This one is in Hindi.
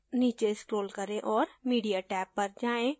नीचे scroll करें और media tab पर जाएँ